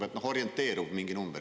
Ütle mingi orienteeriv number.